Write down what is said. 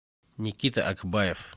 никита акбаев